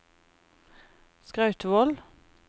Skrautvål